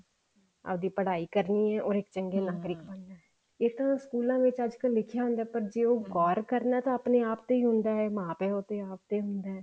ਆਪਦੀ ਪੜਾਈ ਕਰਨੀ ਹੈ or ਇੱਕ ਚੰਗੇ ਨਾਗਰਿਕ ਬਣਨਾ ਹੈ ਇਹ ਤਾਂ ਸਕੂਲਾਂ ਵਿੱਚ ਅੱਜਕਲ ਲਿਖਿਆ ਹੁੰਦਾ ਜੇ ਉਹ ਗੋਰ ਕਰਨਾ ਤਾਂ ਆਪਣੇ ਆਪ ਤੇ ਹੀ ਹੁੰਦਾ ਹੈ ਉਹ ਤਾਂ ਆਪ ਤੇ ਹੁੰਦਾ ਹੈ